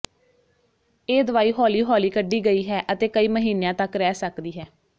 ਇਹ ਦਵਾਈ ਹੌਲੀ ਹੌਲੀ ਕਢੀ ਗਈ ਹੈ ਅਤੇ ਕਈ ਮਹੀਨਿਆਂ ਤਕ ਰਹਿ ਸਕਦੀ ਹੈ